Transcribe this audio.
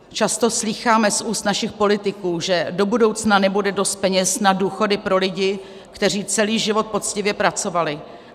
Často slýcháme z úst našich politiků, že do budoucna nebude dost peněz na důchody pro lidi, kteří celý život poctivě pracovali.